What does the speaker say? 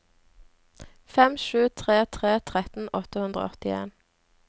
fem sju tre tre tretten åtte hundre og åttien